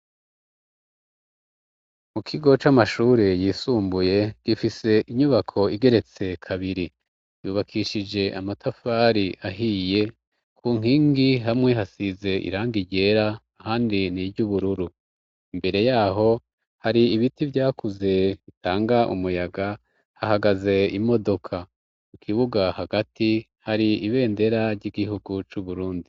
Mu kigo c'amashure yisumbuye, gifise inyubako igeretse kabiri. Yubakishije amatafari ahiye, ku nkingi hamwe hasize iranga ryera, ahandi ni iry'ubururu. Imbere ya ho, hari ibiti vyakuze bitanga umuyaga, hahagaze imodoka. Mu kibuga hagati, hari ibendera ry'igihugu c'Uburundi.